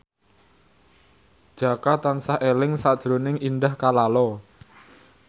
Jaka tansah eling sakjroning Indah Kalalo